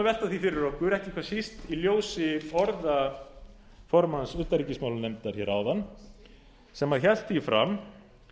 því fyrir okkur ekki hvað síst í ljósi orða formanns utanríkismálanefndar hér áðan sem hélt því fram